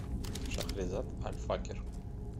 шахрезад аль факер